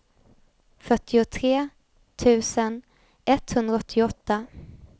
fyrtiotre tusen etthundraåttioåtta